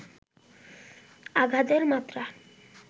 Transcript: আঘাতের মাত্রা